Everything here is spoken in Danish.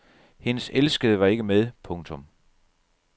Hendes elskede var ikke med. punktum